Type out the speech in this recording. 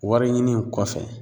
Wɔriɲini in kɔfɛ